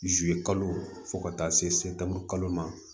zuluye kalo fo ka taa se se tan kalo ma